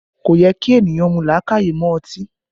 Kò yẹ kí ènìyàn mú làákàyè mọ́ ọtí